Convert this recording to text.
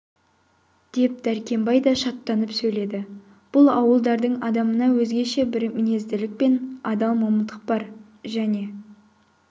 деп дәркембай да шаттанып сөйледі бұл ауылдардың адамына өзгеше бір мінезділік пен адал момындық бар және